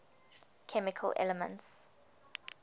chemical elements